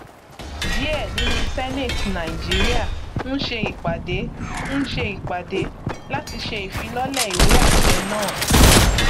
díẹ nínú senate nigeria ń ṣe ìpàdé ń ṣe ìpàdé láti ṣe ìfilọlẹ ìwéàṣẹ náà